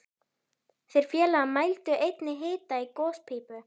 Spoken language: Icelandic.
Þeir félagar mældu einnig hita í gospípu